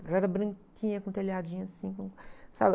Ela era branquinha, com telhadinho assim, com, sabe?